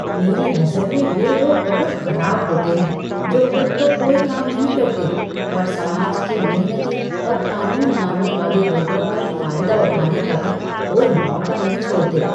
मेरी नज़र में वे लोग बहुत खराब होते हैं जो खुद तो कोई काम नहीं करते और समाज के मेहनती और कानून मानने वाले लोगों का फायदा उठाने का भी कोई मौका नहीं छोड़ते।